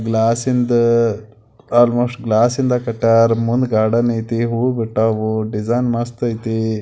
ಗ್ಲಾಸಿಂದ್ almost ಗ್ಲಾಸಿಂದ್ cutter ಮುಂದ್ garden ಐತಿ ಹೂವು ಬಿಟವು ಡಿಸೈನ್ ಮಸ್ತ್ ಐತಿ .